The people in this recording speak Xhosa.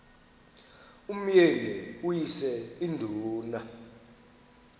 umyeni uyise iduna